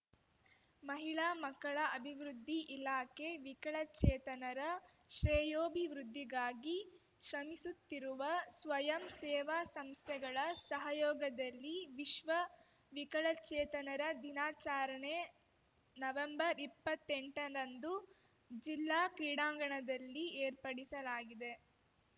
ಮಹಿಳಾ ಮಕ್ಕಳ ಅಭಿವೃದ್ಧಿ ಇಲಾಖೆ ವಿಕಳಚೇತನರ ಶ್ರೇಯೋಭಿವೃದ್ಧಿಗಾಗಿ ಶ್ರಮಿಸುತ್ತಿರುವ ಸ್ವಯಂ ಸೇವಾ ಸಂಸ್ಥೆಗಳ ಸಹಯೋಗದಲ್ಲಿ ವಿಶ್ವ ವಿಕಲಚೇತನರ ದಿನಾಚಾರಣೆ ನವೆಂಬರ್ಇಪ್ಪತ್ತೆಂಟರಂದು ಜಿಲ್ಲಾ ಕ್ರೀಡಾಂಗಣದಲ್ಲಿ ಏರ್ಪಡಿಸಲಾಗಿದೆ